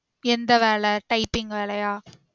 எந்த வேல typing வேலையா